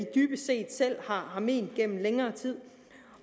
dybest set selv har ment gennem længere tid